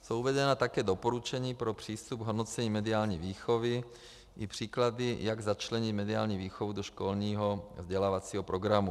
Jsou uvedena také doporučení pro přístup k hodnocení mediální výchovy i příklady, jak začlenit mediální výchovu do školního vzdělávacího programu.